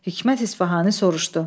Hikmət İsfahani soruşdu: